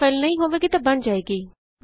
ਜੇ ਫਾਈਲ ਮੌਜੂਦ ਨਹੀਂ ਹੋਵੇਗੀ ਤਾਂ ਇਹ ਬਣ ਜਾਵੇਗੀ